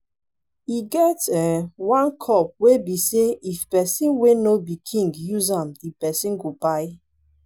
e get um one cup wey be say if person wey no be king use am the person go kpai